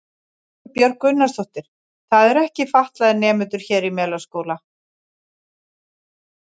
Erla Björg Gunnarsdóttir: Það eru ekki fatlaðir nemendur hér í Melaskóla?